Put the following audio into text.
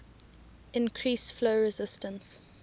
increase flow resistance